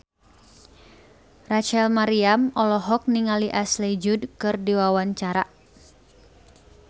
Rachel Maryam olohok ningali Ashley Judd keur diwawancara